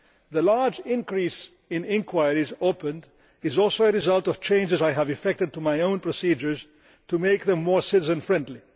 The large increase in inquiries opened is also a result of changes I have effected to my own procedures to make them more citizen friendly.